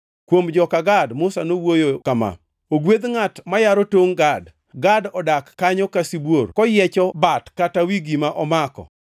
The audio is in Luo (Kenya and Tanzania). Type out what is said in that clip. Kuom joka Gad, Musa nowuoyo kama: “Ogwedh ngʼat mayaro tongʼ Gad! Gad odak kanyo ka sibuor, koyiecho bat kata wi gima omako.